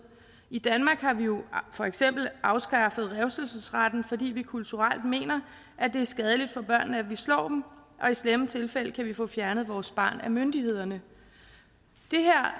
i danmark har vi jo for eksempel afskaffet revselsesretten fordi vi kulturelt mener at det er skadeligt for børnene at vi slår dem og i slemme tilfælde kan vi få fjernet vores barn af myndighederne det her